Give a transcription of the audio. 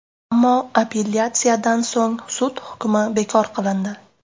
Ammo apellyatsiyadan so‘ng sud hukmi bekor qilindi.